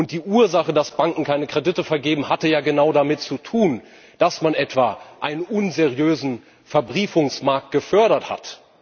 Die Ursache dafür, dass Banken keine Kredite vergeben, hatte ja genau damit zu tun, dass man etwa einen unseriösen Verbriefungsmarkt gefördert hat.